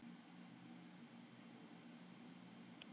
hljóðaði mamma upp yfir sig.